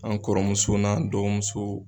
An kɔrɔmuso n'an dɔgɔmuso